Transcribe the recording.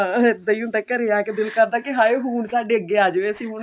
ਹਾਂ ਇੱਦਾਂ ਹੀ ਹੁੰਦਾ ਘਰੇ ਆਕੇ ਦਿਲ ਕਰਦਾ ਕਿ ਹਾਏ ਹੁਣ ਸਾਡੇ ਅੱਗੇ ਆ ਜਾਵੇ ਅਸੀਂ